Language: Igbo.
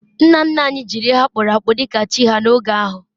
nna nna anyi jiri ihe akpu akpu dika chi ha n'oge ahu